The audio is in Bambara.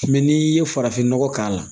Mɛ n'i ye farafinnɔgɔ k'a la